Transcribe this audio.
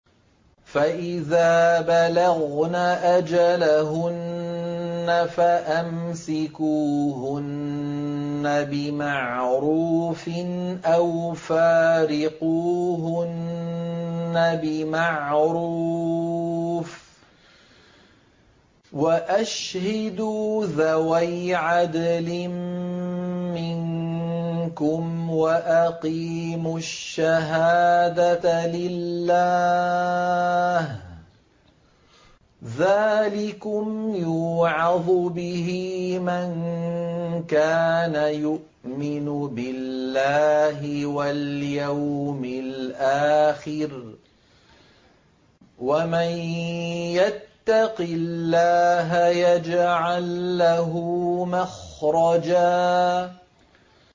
فَإِذَا بَلَغْنَ أَجَلَهُنَّ فَأَمْسِكُوهُنَّ بِمَعْرُوفٍ أَوْ فَارِقُوهُنَّ بِمَعْرُوفٍ وَأَشْهِدُوا ذَوَيْ عَدْلٍ مِّنكُمْ وَأَقِيمُوا الشَّهَادَةَ لِلَّهِ ۚ ذَٰلِكُمْ يُوعَظُ بِهِ مَن كَانَ يُؤْمِنُ بِاللَّهِ وَالْيَوْمِ الْآخِرِ ۚ وَمَن يَتَّقِ اللَّهَ يَجْعَل لَّهُ مَخْرَجًا